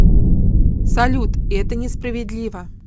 салют это не справедливо